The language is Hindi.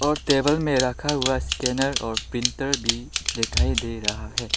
और टेबल में रखा हुआ स्कैनर और प्रिंटर भी दिखाई दे रहा है।